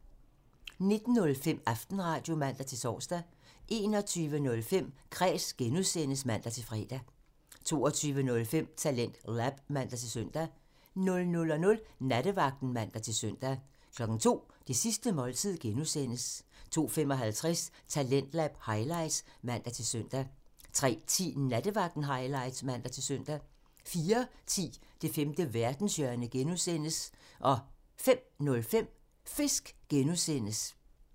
19:05: Aftenradio (man-tor) 21:05: Kræs (G) (man-fre) 22:05: TalentLab (man-søn) 00:00: Nattevagten (man-søn) 02:00: Det sidste måltid (G) (man) 02:55: Talentlab highlights (man-søn) 03:10: Nattevagten highlights (man-søn) 04:10: Det femte verdenshjørne (G) (man) 05:05: Fisk (G) (man)